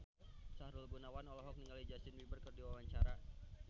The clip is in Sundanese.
Sahrul Gunawan olohok ningali Justin Beiber keur diwawancara